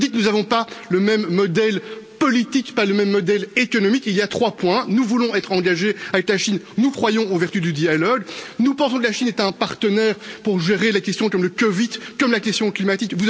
Nous n'avons ni le même modèle politique, ni le même modèle économique. Il y a trois points nous voulons être engagés avec la Chine, nous croyons aux vertus du dialogue, nous pensons que la Chine est un partenaire pour gérer la question comme le COVID et la question climatique.